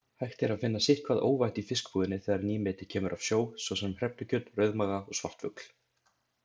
Hægt er að finna sitthvað óvænt í fiskbúðinni þegar nýmeti kemur af sjó, svo sem hrefnukjöt, rauðmaga og svartfugl.